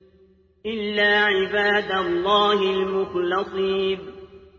إِلَّا عِبَادَ اللَّهِ الْمُخْلَصِينَ